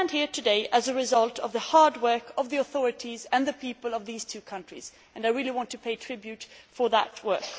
We stand here today as a result of the hard work of the authorities and the people of these two countries, and I would like to pay tribute to that work.